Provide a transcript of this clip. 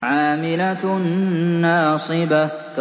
عَامِلَةٌ نَّاصِبَةٌ